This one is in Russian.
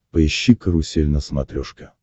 поищи карусель на смотрешке